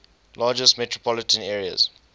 largest metropolitan areas